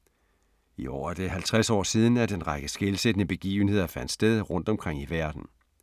I år er det 50 år siden, at en række skelsættende begivenheder fandt sted rundt omkring i verden.